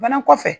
Fana kɔfɛ